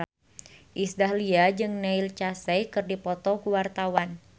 Iis Dahlia jeung Neil Casey keur dipoto ku wartawan